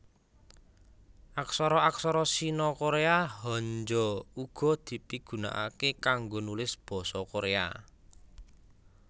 Aksara aksara Sino Koréa Hanja uga dipigunakaké kanggo nulis basa Koréa